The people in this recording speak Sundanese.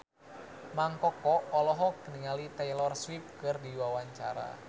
Mang Koko olohok ningali Taylor Swift keur diwawancara